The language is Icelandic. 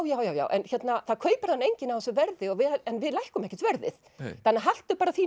já já já en það kaupir hana enginn á þessu verði en við lækkum ekkert verðið þannig að haltu bara þínu